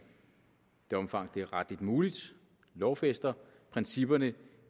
det omfang det er retligt muligt lovfæster principperne i